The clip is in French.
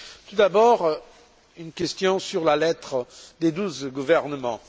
Tout d'abord, une question sur la lettre des douze gouvernements.